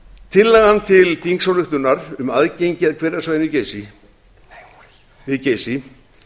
tillagan til þingsályktunar um aðgengi að hverasvæðinu við geysi